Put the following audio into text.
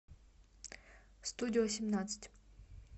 студио семнадцать